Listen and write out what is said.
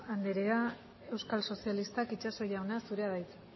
anderea euskal sozialistak itxaso jauna zurea da hitza